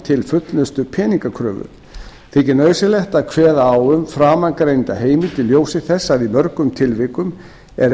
til fullnustu peningakröfu þykir nauðsynlegt að kveða á um framangreinda heimild í ljósi þess að í mörgum tilvikum er